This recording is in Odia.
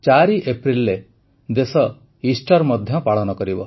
୪ ଏପ୍ରିଲରେ ଦେଶ ଇଷ୍ଟର୍ ମଧ୍ୟ ପାଳନ କରିବ